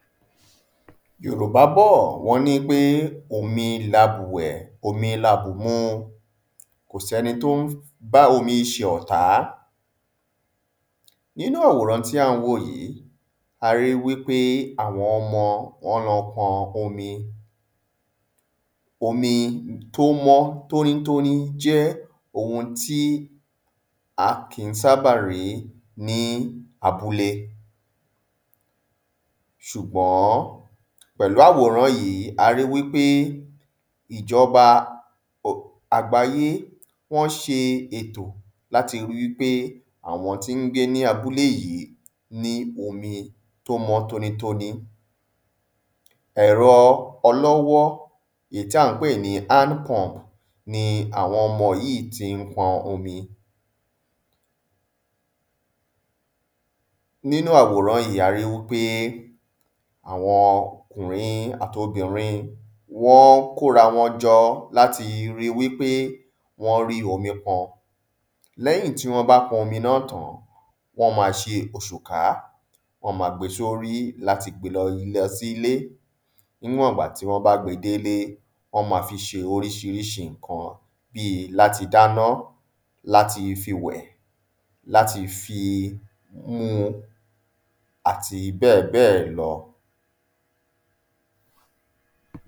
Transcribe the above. ﻿Yorùbá bọ̀ wọ́n ní pé omi labùwẹ̀, omi la bù mu, kò ṣẹ́ni tí ó n bá omi ṣọ̀tá. Nínú àwòrán tí à n wò yí, a ri wí pé àwọn ọmọ wọ́n lọ n pọn omi. Omi tí ó mọ́ tóní tóni jẹ́ ohun tí a kì í sábà rí ní abúlé, sùgbọ́n, pẹ̀lú àwòrán yìí, a ri wípé ìjọba àgbáyé wọ́n ṣe ètò láti ri wí pé àwọn tí n gbé ní abúlé yí ní omi tó mọ́ tóní tóní. ẹ̀rọ ọlọ́wọ́ èyí tí à n pè ní hand pump ni àwọn ọmọ yí tí n pọn omi. Nínu àwòrán yìí, a ri wípé àwọn ọkùnrin àti obìrin wọ́n kórawọn jọ láti ri wípé wọ́n rí omi pọn. Lẹ́yìn tí wọ́n bá pọn omi náà tán, wọ́n ma ṣe òṣùká wọ́n ma gbe sórí láti gbe lo sí ilé, níwọ̀ngbà tí wọ́n bá gbẹ délé, wọ́n ma fi ṣe príṣiríṣi nǹkan bí láti dáná, láti fi wẹ̀, láti fi mú àti bẹ́ẹ̀ bẹ́ẹ̀ lọ.